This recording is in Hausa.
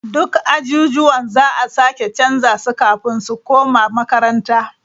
Duk ajujuwan za a sake canza su kafin su koma makaranta.